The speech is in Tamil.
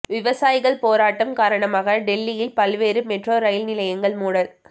விவசாயிகள் போராட்டம் காரணமாக டெல்லியில் பல்வேறு மெட்ரோ ரயில் நிலையங்கள் மூடல்